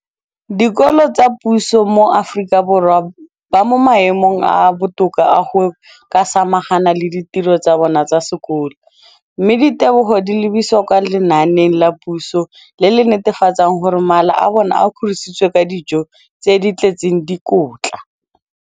dikolo tsa puso mo Aforika Borwa ba mo maemong a a botoka a go ka samagana le ditiro tsa bona tsa sekolo, mme ditebogo di lebisiwa kwa lenaaneng la puso le le netefatsang gore mala a bona a kgorisitswe ka dijo tse di tletseng dikotla.